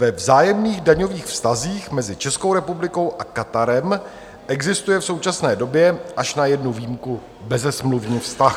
Ve vzájemných daňových vztazích mezi Českou republikou a Katarem existuje v současné době až na jednu výjimku bezesmluvní vztah.